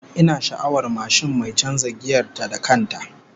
Ina sha'awar mashin mai canza giyar ta da kan ta